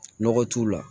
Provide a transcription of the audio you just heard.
Nɔgɔ t'u la